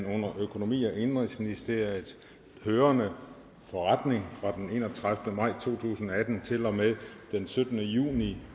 under økonomi og indenrigsministeriet hørende forretninger fra den enogtredivete maj to tusind og atten til og med den syttende juni